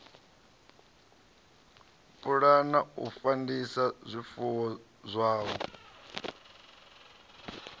pulana u fandisa zwifuwo zwavho